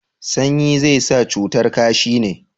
sanyi zai sa cutar kashi ne?